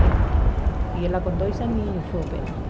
Né e ela com dois aninhos foi operada.